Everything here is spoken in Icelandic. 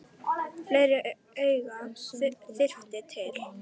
Fleiri augu þyrfti til.